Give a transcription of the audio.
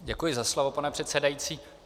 Děkuji za slovo, pane předsedající.